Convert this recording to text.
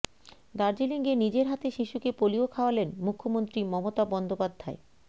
দার্জিলিংয়ে নিজের হাতে শিশুকে পোলিও খাওয়ালেন মুখ্যমন্ত্রী মমতা বন্দ্যোপাধ্যায়